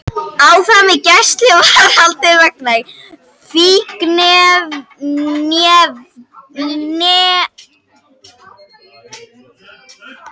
Áfram í gæsluvarðhaldi vegna fíkniefnabrots